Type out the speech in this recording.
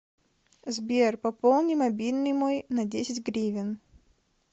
сбер пополни мобильный мой на десять гривен